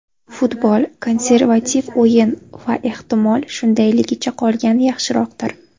Futbol – konservativ o‘yin va, ehtimol, shundayligicha qolgani yaxshiroqdir.